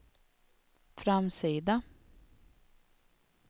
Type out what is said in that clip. framsida